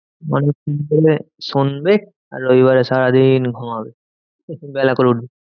শুনবে আর রবিবারে সারাদিন ঘুমাবে একটু বেলা করে উঠবে।